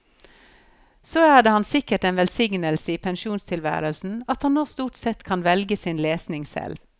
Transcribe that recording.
Så er det ham sikkert en velsignelse i pensjonstilværelsen at han nå stort sett kan velge sin lesning selv.